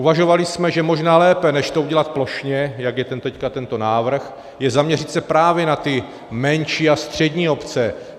Uvažovali jsme, že možná lépe než to udělat plošně, jak je teď tento návrh, je zaměřit se právě na ty menší a střední obce.